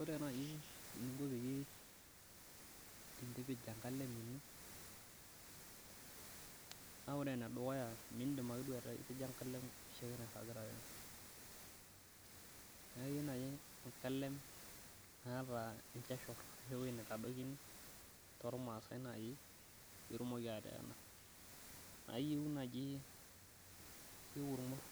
ore naaji eninko pee intipij enkalem ino, naa ore enedukuya naa midim naaji ake atipija enkalem oshiake naragita, enkalem naa enchachur ashu eweji nitadokini, too ilmaasai pee itumoki ateena, naa iyeu naaji ilmur